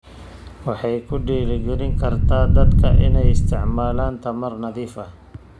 Waxay ku dhiirigelin kartaa dadka inay isticmaalaan tamar nadiif ah.